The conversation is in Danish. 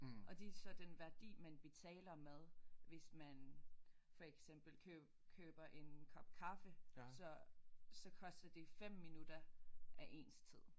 Og de så den værdi man betaler med hvis man for eksempel køber en kop kaffe så så koster det 5 minutter af ens tid